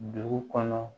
Dugu kɔnɔ